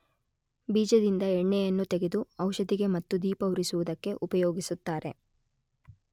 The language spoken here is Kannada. ಬೀಜದಿಂದ ಎಣ್ಣೆಯನ್ನು ತೆಗೆದು ಔಷಧಿಗೆ ಮತ್ತು ದೀಪ ಉರಿಸುವುದಕ್ಕೆ ಉಪಯೋಗಿಸುತ್ತಾರೆ.